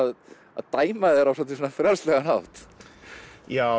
að að dæma þær á svolítið frjálslegan hátt já